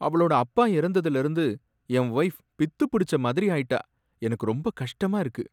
அவளோட அப்பா இறந்ததுல இருந்து என் வொய்ஃப் பித்துப் பிடிச்ச மாதிரி ஆயிட்டா, எனக்கு ரொம்ப கஷ்டமா இருக்கு